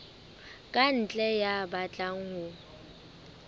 ka ntle ya batlang ho